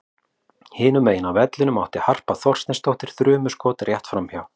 Hinum megin á vellinum átti Harpa Þorsteinsdóttir þrumuskot rétt framhjá.